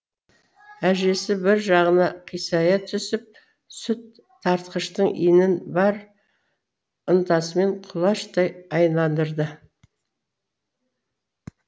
әжесі бір жағына қисая түсіп сүт тартқыштың иінін бар ынтасымен құлаштай айналдырады